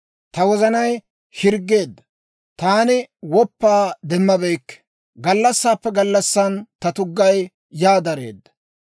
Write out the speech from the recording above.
Ta wozanay hirggeedda; taani woppaa demmabeykke; gallassaappe gallassan ta tuggay yaa dareedda.